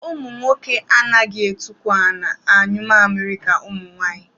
Ụmụnwoke anaghị etukwu ala anyụ mamịrị ka ụmụnwaanyị